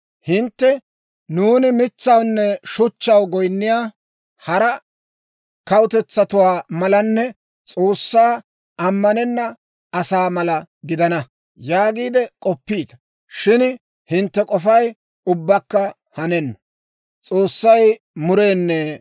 Hintte, «Nuuni mitsawunne shuchchaw goyinniyaa hara kawutetsatuwaa malanne S'oossaa amanena asaa mala gidana» yaagiide k'oppiita. Shin hintte k'ofay ubbakka hanenna.